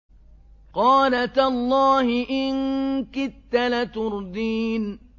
قَالَ تَاللَّهِ إِن كِدتَّ لَتُرْدِينِ